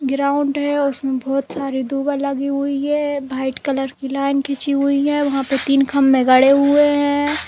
Ground है। उसमें बोहोत सारे दुआ लगी हुई हैं। व्हाइट कलर की लाइन खींची हुई है। वहाँ पे तीन खम्भे गड़े हुए हैं।